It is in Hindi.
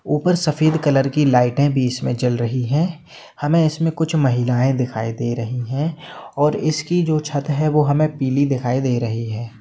ऊपर सफ़ेद कलर की लाइट भी जल रही है उसमे हमें उंसे कुछ महिला दिखय दे रही है और उसकी छत है जो पिली दिखाई दे रही है।